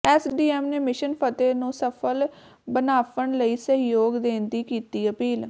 SDM ਨੇ mission Fateh ਨੂੰ ਸਫ਼ਲ ਬਣਾਫਣ ਲਈ ਸਹਿਯੋਗ ਦੇਣ ਦੀ ਕੀਤੀ ਅਪੀਲ